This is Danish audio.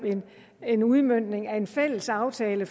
en udmøntning af en fælles aftale